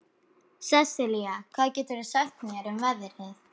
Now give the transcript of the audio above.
Sesilía, hvað geturðu sagt mér um veðrið?